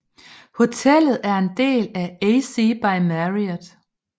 Hotellet er en del af AC by Marriott